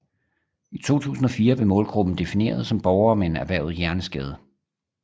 I 2004 blev målgruppen defineret som borgere med erhvervet hjerneskade